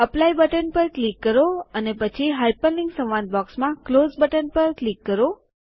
apply button પર click કરો અને પછી હાઇપરલિન્ક સંવાદ બૉક્સમાં ક્લોઝ બટન પર ક્લિક કરો